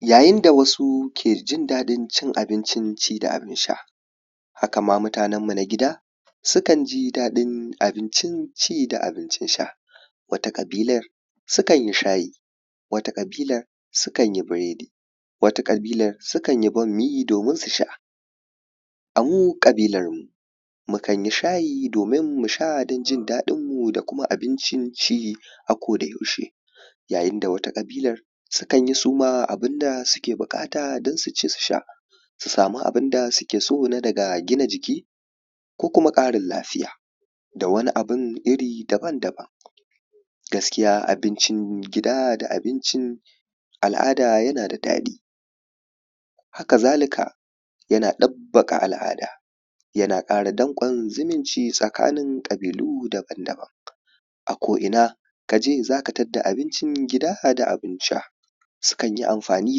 yayin da wasu ke jin daɗin cin abinci ci da abin sha haka ma mutanen mu na gida sukan ji daɗin abincin ci da abincin sha wata ƙabilar su kan yi shayi wata ƙabilar sukan yi biredi wata ƙabilar sukan yi bammi domin su sha a mu ƙabilar mu mukan yi shayi domin mu sha don jin daɗin mu da kuma abincin ci a koda yaushe yayin da wata ƙabilar sukan yi su ma abunda suke buƙata don su ci su sha su samu abunda suke so na daga gina jiki ko kuma ƙarin lafiya da wani abun iri daban-daban gaskiya abincin gida da abincin al’ada yana da daɗi haka zalika yana ɗabbaƙa al’ada yana ƙara danƙon zumunci tsakanin ƙabilu daban-daban a ko ina kaje zaka tadda abincin gida da abin sha sukan yi amfani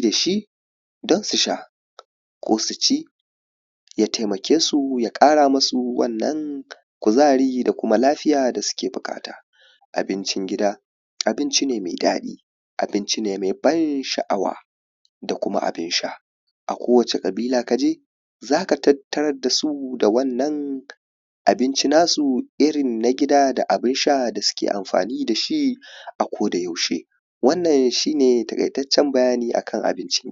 dashi don su sha ko su ci ya taimake su ya ƙara musu wannan kuzari da kuma lafiya da suke buƙata abincin gida abinci ne mai daɗi abinci ne mai ban sha’awa da kuma abun sha a kowacce ƙabila kaje zaka tarar da su da wannan abinci nasu irin na gida da abun sha da suke amfani dashi a koda yaushe wannan shi ne taƙaitaccen bayani akan abinci